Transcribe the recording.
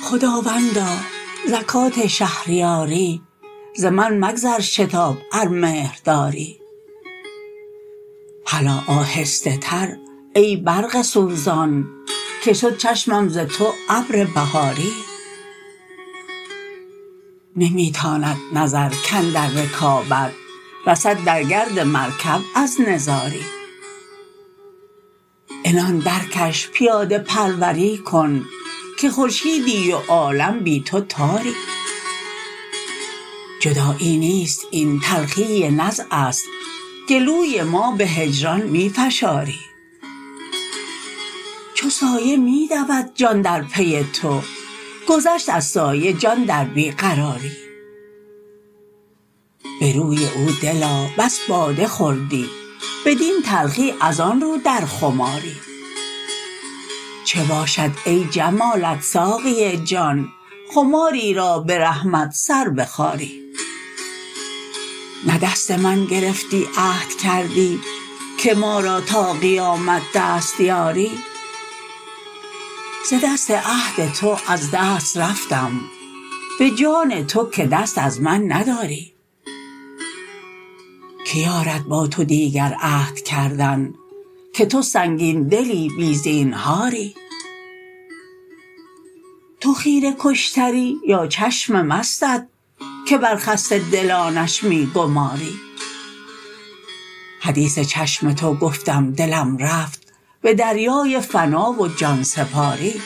خداوندا زکات شهریاری ز من مگذر شتاب ار مهر داری هلا آهسته تر ای برق سوزان که شد چشمم ز تو ابر بهاری نمی تاند نظر کاندر رکابت رسد در گرد مرکب از نزاری عنان درکش پیاده پروری کن که خورشیدی و عالم بی تو تاری جدایی نیست این تلخی نزع است گلوی ما به هجران می فشاری چو سایه می دود جان در پی تو گذشت از سایه جان در بی قراری به روی او دلا بس باده خوردی بدین تلخی از آن رو در خماری چه باشد ای جمالت ساقی جان خماری را به رحمت سر بخاری نه دست من گرفتی عهد کردی که ما را تا قیامت دست یاری ز دست عهد تو از دست رفتم به جان تو که دست از من نداری کی یارد با تو دیگر عهد کردن که تو سنگین دلی بی زینهاری تو خیره کشتری یا چشم مستت که بر خسته دلانش می گماری حدیث چشم تو گفتم دلم رفت به دریای فنا و جان سپاری